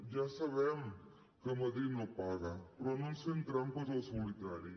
ja sabem que madrid no paga però no ens fem trampes al solitari